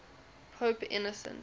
pope innocent